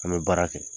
An bɛ baara kɛ